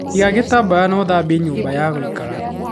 iga githambia na ũthambie nyũmba ya gũikara.